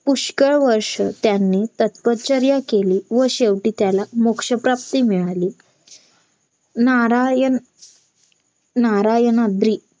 पुष्कळ वर्ष त्यांनी तपश्चर्या केली व शेवटी त्याला मोक्ष प्राप्ती मिळाली नारायण नारायणाद्री